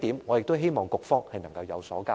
我希望局方能向本會交代。